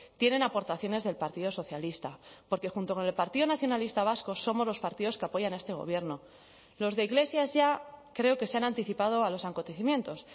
tienen aportaciones del partido socialista porque junto con el partido nacionalista vasco somos los partidos que apoyan a este gobierno los de iglesias ya creo que se han anticipado a los acontecimientos